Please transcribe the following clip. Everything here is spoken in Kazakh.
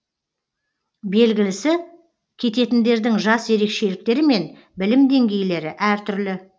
белгілісі кететіндердің жас ерекшеліктері мен білім деңгейлері әртүрлі